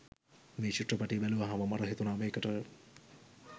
මේ චිත්‍රපටය බැලුවහම මට හිතුණා මේකට